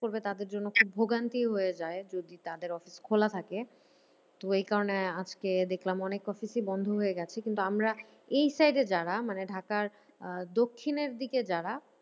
করবে তাদের জন্য ভোগান্তি হয়ে যায় যদি তাদের অফিস খোলা থাকে। তো এই কারণে আজকে দেখলাম অনেক অফিসই বন্ধ হয়ে গেছে কিন্তু আমরা এই side এ যারা মানে ঢাকার আহ দক্ষিণের দিকে যারা